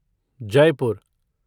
Jaipur